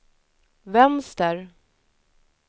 vänster